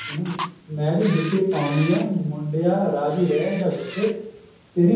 ਹਨਾ ਮੈਂ ਵੀ ਜੁੱਤੀ ਪਾਉਣੀ ਹੈ ਮੁੰਡਿਆ ਰਾਜ਼ੀ ਰਿਹ ਜਾਂ ਗੁੱਸੇ ਤੇਰੀ